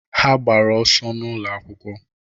Ha gbara ọsọ n'ụlọ akwụkwọ